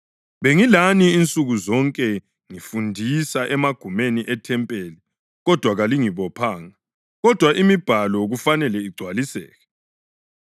Bengilani insuku zonke ngifundisa emagumeni ethempeli, kodwa kalingibophanga. Kodwa iMibhalo kufanele igcwaliseke.”